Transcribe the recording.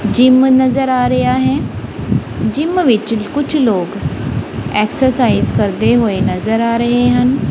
Gym ਨਜ਼ਰ ਆ ਰਿਹਾ ਹੈ ਜਿਮ ਵਿੱਚ ਕੁਛ ਲੋਕ ਐਕਸਰਸਾਈਜ ਕਰਦੇ ਹੋਏ ਨਜ਼ਰ ਆ ਰਹੇ ਹਨ।